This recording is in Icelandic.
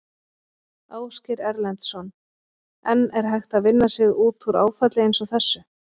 Ásgeir Erlendsson: En er hægt að vinna sig út úr áfalli eins og þessu?